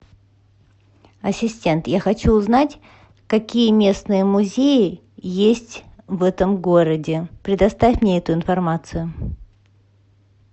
ассистент я хочу узнать какие местные музеи есть в этом городе предоставь мне эту информацию